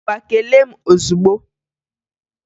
Ngwa kelee m ọzugbo!